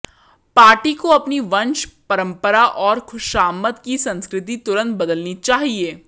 party को अपनी वंश परंपरा और खुशामद की संस्कृति तुरंत बदलनी चाहिए